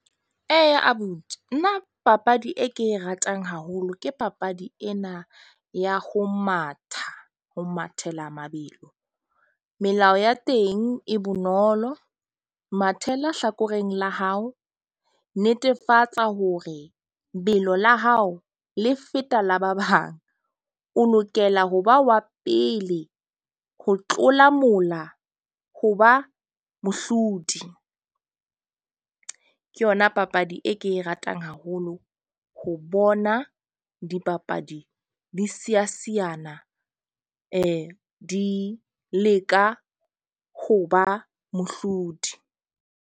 Eya abuti nna papadi e ke e ratang haholo ke papadi ena ya ho matha ho mathela mabelo. Melao ya teng e bonolo mathela hlakoreng la hao. Netefatsa hore lebelo la hao le feta la ba bang. O lokela ho ba wa pele ho tlola mola ho ba mohlodi. Ke yona papadi e ke e ratang haholo ho bona dipapadi di siya siyana, di leka ho ba mohlodi.